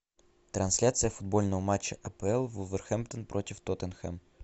трансляция футбольного матча апл вулверхэмптон против тоттенхэм